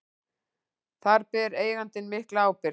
Þar beri eigandi mikla ábyrgð.